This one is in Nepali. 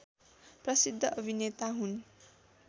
प्रसिद्ध अभिनेता हुन्